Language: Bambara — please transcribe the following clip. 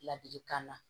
Ladilikan na